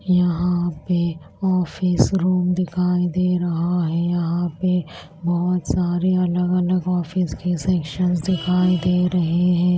यहां पे office room दिखाई दे रहा है यहां पे बहुत सारे अलग-अलग ऑफिस के सेक्शंस दिखाई दे रहे हैं।